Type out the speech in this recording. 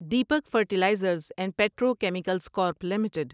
Deepak fertilizers and petrochemicals corp limited